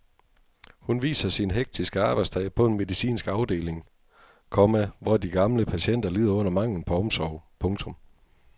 Hun viser sin hektiske arbejdsdag på en medicinsk afdeling, komma hvor de gamle patienter lider under manglen på omsorg. punktum